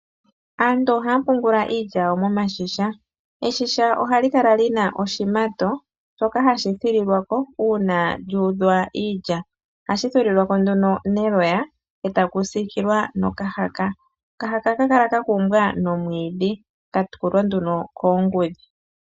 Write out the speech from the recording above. Aantu ohaya pungula iilya yawo miigandhi. Oshigandhi ohashi kala shi na oshimato shoka hashi thililwa ko uuna lyu udhwa iilya. Ohashi thililwa k nduno neloya e taku siikilwa nokahaka. Okahaka ohaka kala ka kumbwa nomwiidhi ka tulwa nduno koongudhi.